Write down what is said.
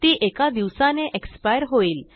ती एका दिवसाने एक्सपायर होईल